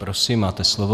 Prosím, máte slovo.